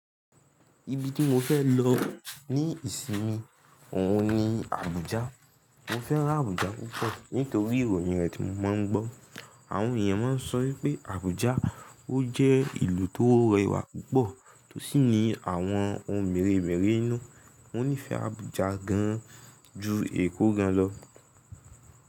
Ibi tí mo fẹ́ lọ ní ìsinmi òun ni Abuja. Mo fẹ́ràn Abuja púpọ̀ nítorí ìròyìn rẹ̀ tí mo maá ń gbọ́. Àwọn èèyàn máa ń sọ wípé Abuja ó jẹ́ ìlú tó rẹwà púpọ̀ tó sì ní àwọn ohun mèremère inú. Mo nífẹ̀ẹ́ Abuja gan an ju Èkó gán lọ.